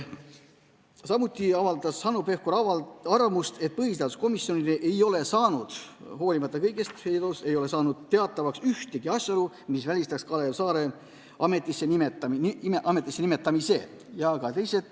Samuti avaldas Hanno Pevkur arvamust, et põhiseaduskomisjonile ei ole saanud teatavaks ühtegi asjaolu, mis välistaks Kalev Saare ametisse nimetamise.